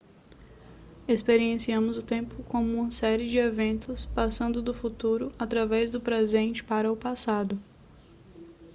experienciamos o tempo como uma série de eventos passando do futuro através do presente para o passado